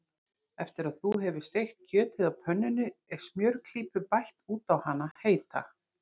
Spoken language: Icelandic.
Eftir að þú hefur steikt kjötið á pönnunni er smjörklípu bætt út á hana heita.